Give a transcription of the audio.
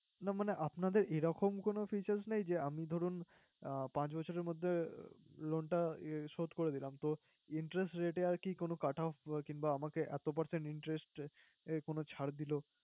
না মানে আপনাদের এরকম কোন features নেই, যে আমি ধরুন আহ পাঁচ বছরের মধ্যে loan টা শোধ করে দিলাম তো interest rate আরকি কোন cut off কিংবা আমাকে এত percent interest এ কোন ছাড় দিলো।